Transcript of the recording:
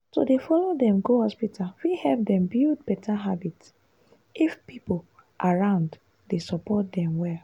to dey follow dem go hospital fit help dem build better habit if people around dey support dem well.